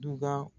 Duda